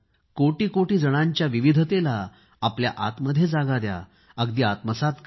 कोटी कोटी जणांच्याक विविधतेला आपल्या आतमध्ये जागा द्या अगदी आत्मसात करा